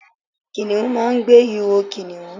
Kìnìún máa n gbe iho kìnìún